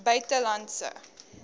buitelandse